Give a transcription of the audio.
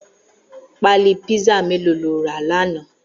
Pàlí pizza méló ló rà làná?